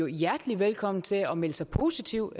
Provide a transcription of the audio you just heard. hjertelig velkommen til at melde sig positivt